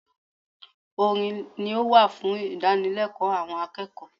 Orin ni ó wà fún ìdánilẹ́kọ̀ọ́ àwọn akẹ́kọ̀ọ́